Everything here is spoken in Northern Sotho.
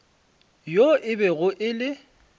yoo e bego e le